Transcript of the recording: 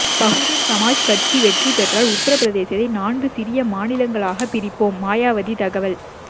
பகுஜன் சமாஜ் கட்சி வெற்றி பெற்றால் உத்தரப்பிரதேசத்தை நான்கு சிறிய மாநிலங்களாகப் பிரிப்போம் மாயாவதி தகவல்